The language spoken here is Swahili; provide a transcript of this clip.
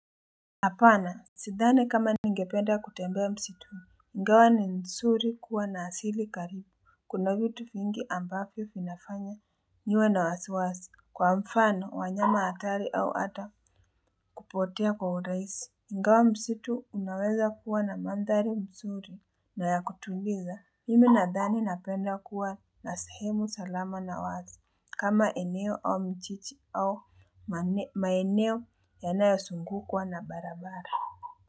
Hapana, sidhani kama ningependa kutembea msitu, ingawa ni nsuri kuwa na asili karibu, kuna vitu vingi ambavyo vinafanya niwe na wasiwasi, kwa mfano wanyama hatari au hata kupotea kwa urahisi. Ingawa msitu unaweza kuwa na mandhari mzuri na ya kutuliza, mimi nadhani napenda kuwa na sehemu salama na wazi, kama eneo au mchichi au maeneo yanayozungukwa na barabara.